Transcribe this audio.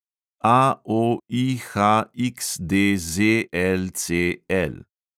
AOIHXDZLCL